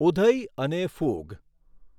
ઊધઈ અને ફૂગ!